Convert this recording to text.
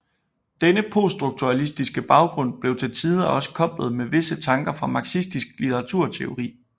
Denne poststrukturalistiske baggrund blev til tider også koblet med visse tanker fra marxistisk litteraturteori